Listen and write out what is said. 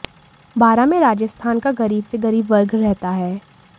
बारां में राजस्थान का गरीब से गरीब वर्ग रहता है